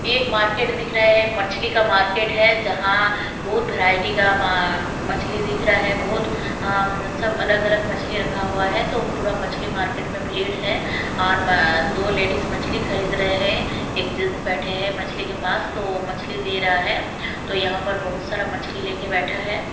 एक मार्केट दिख रहा है मछली का मार्केट है जहां बहुत वैरायटी का मछली दिख रहा है बहुत अम् सब अलग-अलग मछली रखा हुआ है तो पूरा मछली मार्केट में भीड़ है और दो लेडीज मछली खरीद रहे हैं एक जैंट्स बैठे हैं मछली के पास तो मछली दे रहा है तो यहां पर बहुत सारा मछली लेके बैठा है।